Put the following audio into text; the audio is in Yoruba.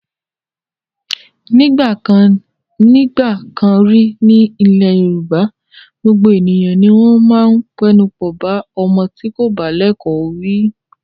Nígbà kan rí ní ilẹ̀ Yorùbá, gbogbo ènìyàn ni wọ́n máa ń pẹnupọ̀ bá ọmọ tí kò bá lẹ́kọ̀ọ́ wí.